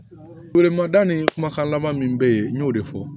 Feere ma da ni kumakan laban min bɛ yen n y'o de fɔ